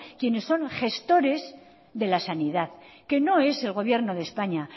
quienes son gestores de la sanidad que no es el gobierno de españa